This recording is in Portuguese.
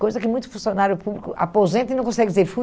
Coisa que muitos funcionários públicos aposentam e não conseguem dizer, fui